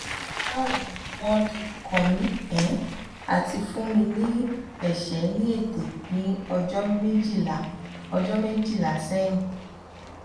bawo ni won dojukomi um ati fun mi um ni ese ni ete ni ojo mejila ojo mejila um sehin